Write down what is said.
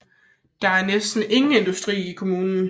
Der er næsten ingen industri i kommunen